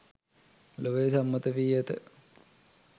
ලොවේ සම්මත වී ඇත